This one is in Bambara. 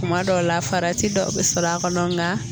Kuma dɔw la farati dɔ bɛ sɔrɔ a kɔnɔ nka.